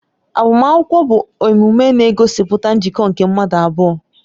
Agbamakwụkwọ bụ emume na-egosipụta njikọ nke mmadụ abụọ